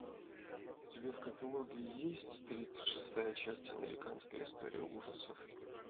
у тебя в каталоге есть тридцать шестая часть американская история ужасов